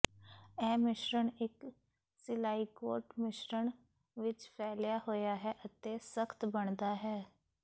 ਇਹ ਮਿਸ਼ਰਣ ਇੱਕ ਸਿਲਾਈਕੋਟ ਮਿਸ਼ਰਣ ਵਿੱਚ ਫੈਲਿਆ ਹੋਇਆ ਹੈ ਅਤੇ ਸਖਤ ਬਣਦਾ ਹੈ